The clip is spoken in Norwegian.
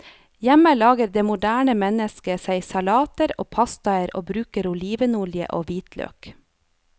Hjemme lager det moderne mennesket seg salater og pastaer og bruker olivenolje og hvitløk.